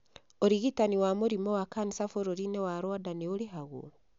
Ũrigitani wa mũrimũ wa kanica bũrũri-inĩ wa Rwanda nĩ ũrĩhagwo.